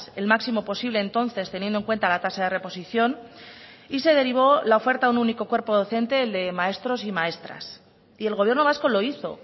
el máximo posible entonces teniendo en cuenta la tasa de reposición y se derivó la oferta a un único cuerpo docente el de maestros y maestras y el gobierno vasco lo hizo